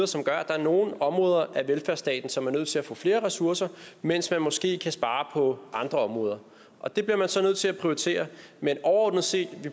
som gør at der er nogle områder af velfærdsstaten som er nødt til at få flere ressourcer mens man måske kan spare på andre områder og det bliver man så nødt til at prioritere men overordnet set